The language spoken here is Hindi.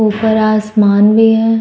ऊपर आसमान भी है।